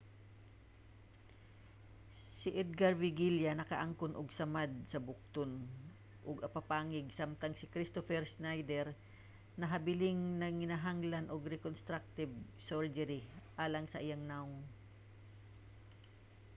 si edgar veguilla nakaangkon og samad sa bukton ug apapangig samtang si kristoffer schneider nahabiling nanginahanglan og reconstructive surgery alang sa iyang nawong